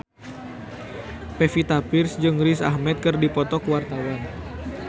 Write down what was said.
Pevita Pearce jeung Riz Ahmed keur dipoto ku wartawan